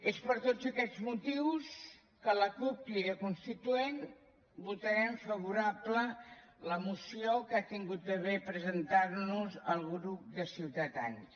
és per tots aquests motius que la cup crida constituent votarem favorable la moció que ha tingut a bé presentar nos el grup de ciutadans